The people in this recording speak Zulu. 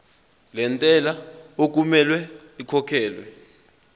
lentela okumele ikhokhekhelwe